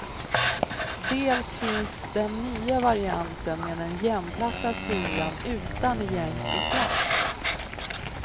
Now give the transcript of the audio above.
Dels finns den nya varianten med den jämnplatta sulan utan egentlig klack.